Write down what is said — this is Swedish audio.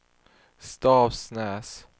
Stavsnäs